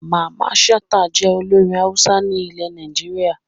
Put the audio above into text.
Mamman Shata jẹ́ olórin Hausa ní ile Nàìjíríà